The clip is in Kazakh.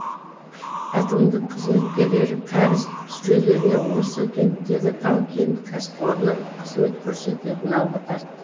әкімдік қызметкерлері кәріз жүйелеріне осы кенттегі тау кен кәсіпорыны қызмет көрсететіні алға тартты